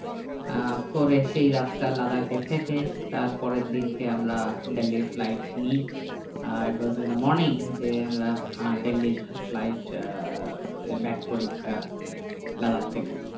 আহ করে সেই রাতটা লাদাখ এ থেকে তারপরের দিনকে আমরা দিল্লি flight নিই আর it was in the morning যে আমরা আহ দিল্লির flight আহ back করি আহ লাদাখ থেকে